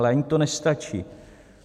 Ale ani to nestačí.